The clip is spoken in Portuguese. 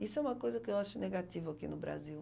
Isso é uma coisa que eu acho negativa aqui no Brasil.